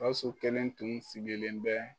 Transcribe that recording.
GAWUSU kelen tun sigilen bɛ.